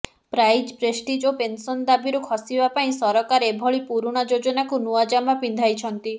prize prestige ଓ pension ଦାବିରୁ ଖସିବା ପାଇଁ ସରକାର ଏଭଳି ପୁରୁଣା ଯୋଜନାକୁ ନୂଆ ଜାମା ପିନ୍ଧାଇଛନ୍ତି